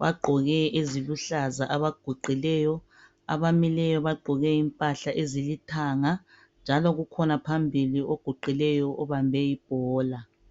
Bagqoke eziluhlaza abaguqileyo. Abamileyo bagqoke impahla ezilithanga. Njalo kukhona phambili oguqileyo ubambe ibhola